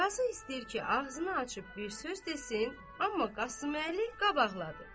Qazı istəyir ki, ağzını açıb bir söz desin, amma Qasıməli qabaqladı.